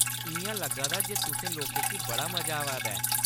इ'यां लग्गा दा जे तुसें लोकें गी बड़ा मजा आवा दा ऐ।